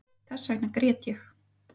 Þessvegna grét ég